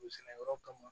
O sɛnɛyɔrɔ kama